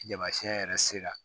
Tamasiɛn yɛrɛ sera